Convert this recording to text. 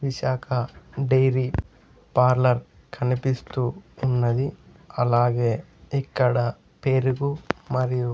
Visakha dairy parlour కనిపిస్తూ ఉన్నది అలాగే ఇక్కడ పెరుగు మరియు.